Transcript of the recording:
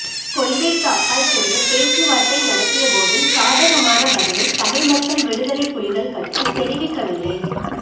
கொள்கைக்கு அப்பால் சென்று பேச்சுவார்த்தை நடாத்திய போதும் சாதகமான பதிலை தமிழ் மக்கள் விடுதலைப் புலிகள் கட்சி தெரிவிக்கவில்லை